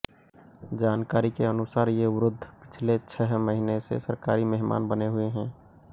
जानकारी के अनुसार ये वृद्ध पिछले छह महीने से सरकारी मेहमान बने हुए हैं